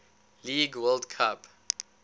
league world cup